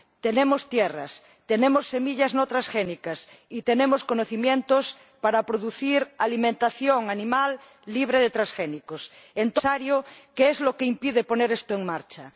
Tenemos tierras, tenemos semillas no transgénicas y tenemos conocimientos para producir alimentación animal libre de transgénicos. Entonces, señor comisario, ¿qué es lo que impide poner esto en marcha?